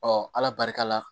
ala barika la